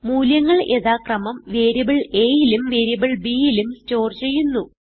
മൂല്യങ്ങൾ യഥാക്രമം വേരിയബിൾ aയിലും വേരിയബിൾ bയിലും സ്റ്റോർ ചെയ്യുന്നു